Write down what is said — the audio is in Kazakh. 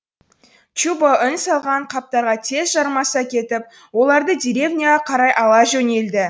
чубо үн салған қаптарға тез жармаса кетіп оларды деревняға қарай ала жөнелді